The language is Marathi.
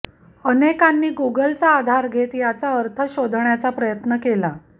अनेकांनी गुगलचा आधार घेत याचा अर्थ शोधण्याचा प्रयत्न केला